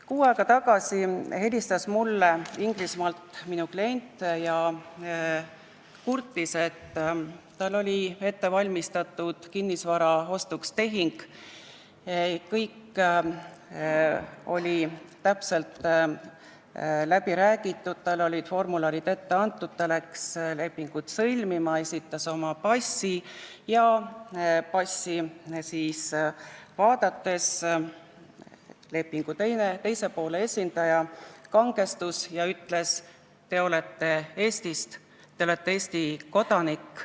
Kuu aega tagasi helistas mulle minu klient Inglismaalt ja kurtis, et tal oli ette valmistatud kinnisvara ostutehing, kõik oli täpselt läbi räägitud, talle olid formularid ette antud ning ta läkski lepingut sõlmima ja esitas oma passi, aga passi vaadates lepingu teise poole esindaja kangestus ja ütles: "Te olete Eestist, te olete Eesti kodanik.